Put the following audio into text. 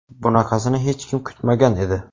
Bunaqasini hech kim kutmagan edi.